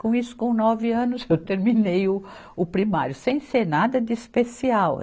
Com isso, com nove anos, eu terminei o, o primário, sem ser nada de especial.